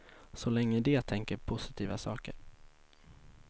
Så länge de tänker positiva saker.